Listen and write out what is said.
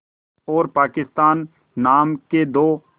और पाकिस्तान नाम के दो